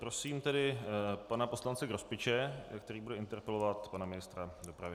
Prosím tedy pana poslance Grospiče, který bude interpelovat pana ministra dopravy.